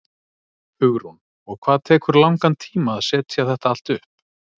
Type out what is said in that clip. Hugrún: Og hvað tekur langan tíma að setja þetta allt upp?